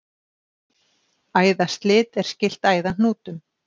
Æðaslit er skylt æðahnútum.